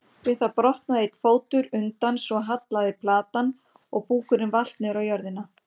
Við það brotnaði einn fótur undan svo hallaði platan og búkurinn valt niður á jörðina.